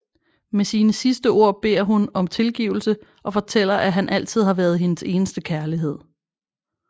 Med sine sidste ord beder hun om tilgivelse og fortæller at han altid har været hendes eneste kærlighed